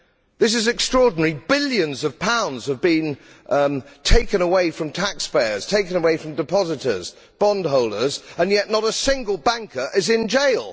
That is extraordinary billions of pounds have been taken away from taxpayers, taken away from depositors and bondholders, and yet not a single banker is in jail.